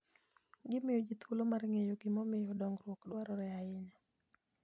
Gimiyo ji thuolo mar ng'eyo gimomiyo dongruok dwarore ahinya.